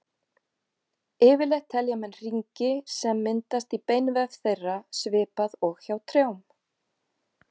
Yfirleitt telja menn hringi sem myndast í beinvef þeirra, svipað og hjá trjám.